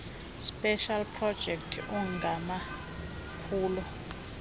specials projects angamaphulo